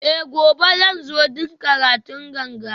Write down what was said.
Eh gobe zan zo don karatun ganga